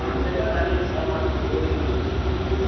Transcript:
அதுகுல்லை எல்லாம் தனியா தரமாடாங்க OD எல்லாம்